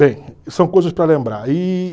Bem, são coisas para lembrar. E...